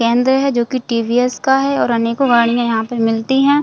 केंद्र है जो की टी.वी.एस. का है और अनेको गाड़ियाँ यहाँ पे मिलती है।